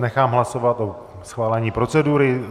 Nechám hlasovat o schválení procedury.